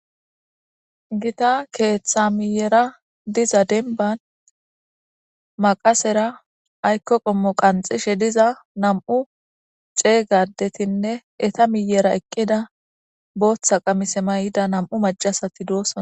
gita keththa miyera diza demban maqasera ayikko qommo qanxishe diza nam7u cega addetinne eta miyera eqqida booththa qamise mayida nam7u macasati doosona